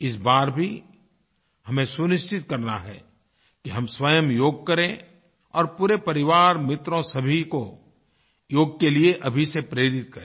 इस बार भी हमें सुनिश्चित करना है कि हम स्वयं योग करें और पूरे परिवार मित्रों सभी को योग के लिए अभी से प्रेरित करें